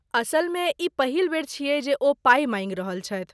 असलमे, ई पहिल बेर छियै जे ओ पाइ माँगि रहल छथि।